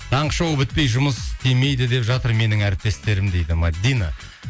таңғы шоу бітпей жұмыс істемейді деп жатыр менің әріптестерім дейді мәдина